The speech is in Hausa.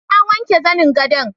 Na wanke zanin gadon